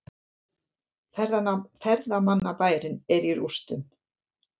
Ferðamannabærinn er í rústum